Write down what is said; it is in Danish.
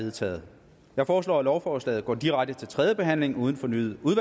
vedtaget jeg foreslår at lovforslaget går direkte til tredje behandling uden fornyet